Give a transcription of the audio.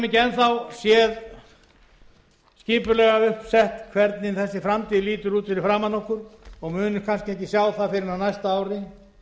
ekki enn þá séð skipulega upp sett hvernig þessi framtíð lítur út fyrir framan okkur og munum kannski ekki sjá það fyrr en á næsta ári